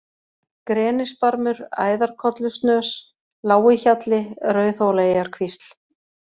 Grenisbarmur, Æðarkollusnös, Lágihjalli, Rauðhólaeyjarkvísl